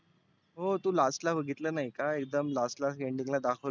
हो last ला बघितलं नाही का? एकदम last ला ending ला दाखवलं